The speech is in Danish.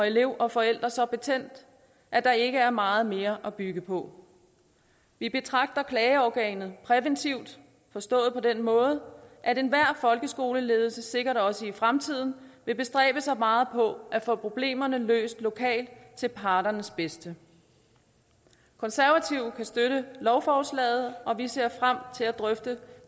elev og forældre så betændt at der ikke er meget mere at bygge på vi betragter klageorganet præventivt forstået på den måde at enhver folkeskoleledelse sikkert også i fremtiden vil bestræbe sig meget på at få problemerne løst lokalt til parternes bedste konservative kan støtte lovforslaget og vi ser frem til at drøfte